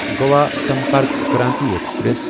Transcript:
Goa Sampark Kranti express